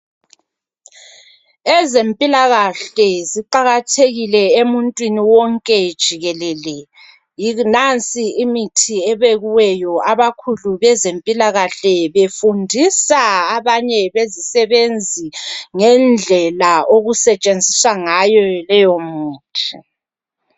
Ezempilakahle ziqakathekile emuntwini wonke jikelele. Nansi imithi ebekiweyo. Abakhulu bezempilakahle befundisa abanye bezisebenzi, ngendlela okusetshenziswa ngayo leyomithi.